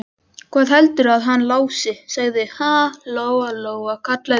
Hvað heldurðu að hann Lási segði, ha, Lóa-Lóa, kallaði hún.